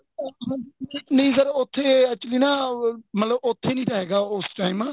ਉੱਥੇ ਨਹੀਂ sir ਉੱਥੇ actually ਨਾ ਮਤਲਬ ਉੱਥੇ ਨਹੀਂ ਹੈਗਾ ਤਾ ਉਸ time